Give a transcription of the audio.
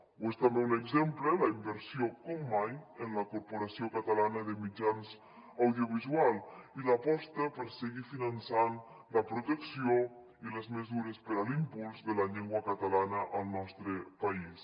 o és també un exemple la inversió com mai en la corporació catalana de mitjans audiovisuals i l’aposta per seguir finançant la protecció i les mesures per a l’impuls de la llengua catalana al nostre país